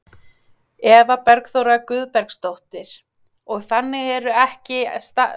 Eva Bergþóra Guðbergsdóttir: Og þannig er ekki staðan í dag eða hvað, að þínu mati?